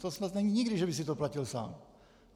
To snad nebylo nikdy, že by si to platil sám.